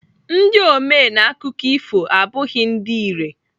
Ndị ome n'akụkọ ifo abụghị ndị irè.